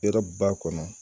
Hɛrɛ b'a kɔnɔ